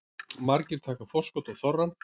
Margir taka forskot á þorrann